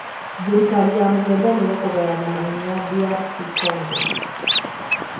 Thirikari na mũng'ethaniro kũgayana mahinya DR Congo.